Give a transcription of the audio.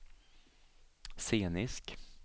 scenisk